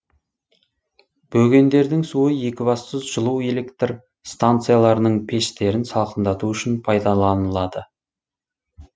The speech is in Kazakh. бөгендердің суы екібастұз жылу электр станцияларының пештерін салқындату үшін пайдаланылады